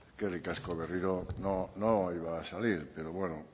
eskerrik asko berriro no iba a salir pero bueno